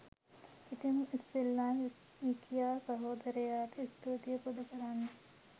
ඉතිං ඉස්සෙල්ලම විකියා සහෝදරයට ස්තූතිය පුද කරනවා